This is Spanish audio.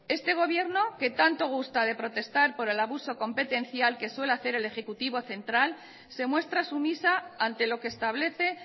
este gobierno que tanto gusta de protestar por el abuso competencial que suele hacer el ejecutivo central se muestra sumisa ante lo que establece